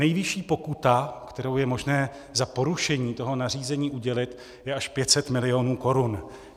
Nejvyšší pokuta, kterou je možné za porušení toho nařízení udělit, je až 500 mil. korun.